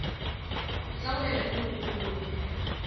sa go ya le megopolo